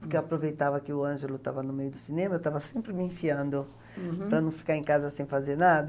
Porque eu aproveitava que o Ângelo estava no meio do cinema, eu estava sempre me enfiando uhum para não ficar em casa sem fazer nada.